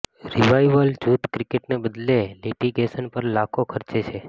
revival જૂથ ક્રિકેટને બદલે લિટિગેશન પર લાખો ખર્ચે છે